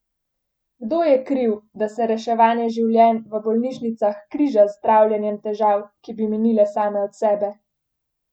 Kdo je kriv, da se reševanje življenj v bolnišnicah križa z zdravljenjem težav, ki bi minile same od sebe?